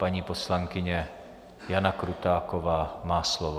Paní poslankyně Jana Krutáková má slovo.